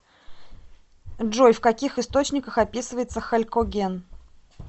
джой в каких источниках описывается халькоген